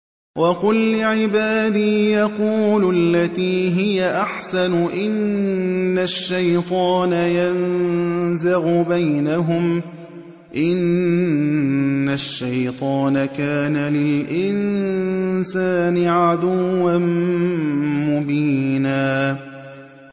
وَقُل لِّعِبَادِي يَقُولُوا الَّتِي هِيَ أَحْسَنُ ۚ إِنَّ الشَّيْطَانَ يَنزَغُ بَيْنَهُمْ ۚ إِنَّ الشَّيْطَانَ كَانَ لِلْإِنسَانِ عَدُوًّا مُّبِينًا